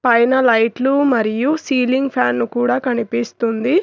పైన లైట్లు మరియు సీలింగ్ ఫ్యాన్ కూడా కనిపిస్తుంది.